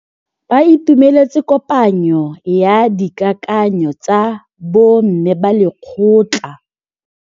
Ba itumeletse kôpanyo ya dikakanyô tsa bo mme ba lekgotla.